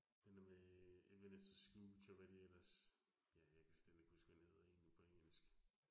Den dér med Ebenezer Scrooge, og hvad de ellers. Ja, jeg kan slet ikke huske, hvad den hedder egentlig på engelsk